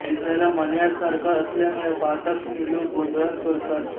दिसायला मण्यार सारखा असल्यामुळे पाहताक्षणी लोक गोंधळात पडतात